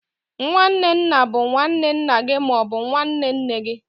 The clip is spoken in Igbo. nwanne nna bụ nwanne nna gị ma ọ bụ nwanne nne gị.